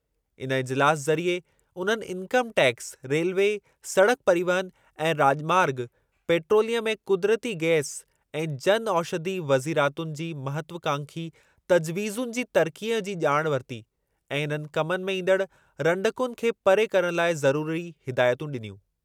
इन इजिलासु ज़रिए उन्हनि इन्कम टैक्स, रेलवे, सड़क परिवहन ऐं राॼमार्गु, पेट्रोलियम ऐं क़ुदिरती गैस ऐं जन औषधि वज़ीरातुनि जी महत्वकांखी तजवीज़ुनि जी तरक़ीअ जी ॼाण वरिती ऐं इन्हनि कमनि में ईंदड़ु रंडकुनि खे परे करणु लाइ ज़रुरी हिदायतूं ॾिनियूं।